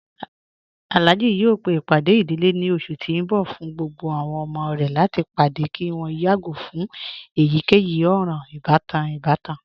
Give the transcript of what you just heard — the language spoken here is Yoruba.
Alhaji yọọ pe ipádẹ̀ idílé ni ọṣù ti n bọ̀ fún gbogbo àwọn ọmọ rẹ̀ láti padẹ̀ kí wọn yàgo fun èyíkeyì òran-ìbatan ìbàtàn.